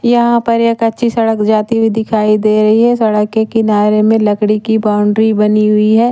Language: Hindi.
यहां पर एक अच्छी सड़क जाती हुई दिखाई दे रही है सड़क के किनारे में लकड़ी की बाउंड्री बनी हुई है।